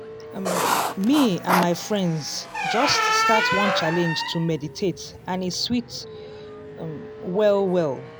um me and my friends just start one challenge to meditate and e sweet um well well.